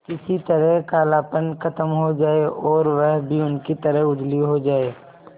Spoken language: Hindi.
किसी तरह कालापन खत्म हो जाए और वह भी उनकी तरह उजली हो जाय